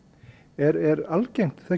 er algengt að